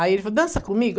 Aí ele falou, dança comigo.